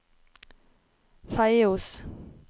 Feios